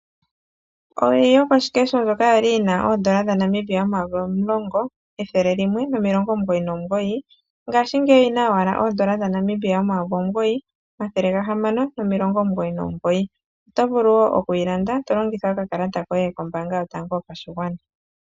Owili yokoshikeho ndjoka yali yi na N$10,199 ngaashingeyi oyi na owala N$ 9699 oto vulu wo okuyi landa to longitha okakalata koye kombaanga yotango yopashigwana.